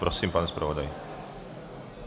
Prosím, pane zpravodaji.